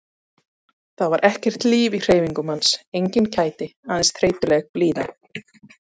Það var ekkert líf í hreyfingum hans, engin kæti, aðeins þreytuleg blíða.